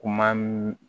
Kuma mi